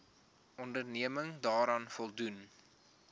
onderneming daaraan voldoen